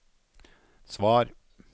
svar